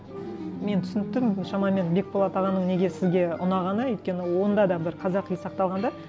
мен түсініп тұрмын шамамен бекболат ағаның неге сізге ұнағаны өйткені онда да бір қазақи сақталған да